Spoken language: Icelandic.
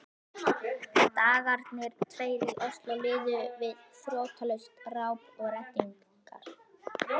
Dagarnir tveir í Osló liðu við þrotlaust ráp og reddingar.